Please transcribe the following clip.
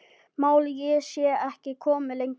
Málið sé ekki komið lengra.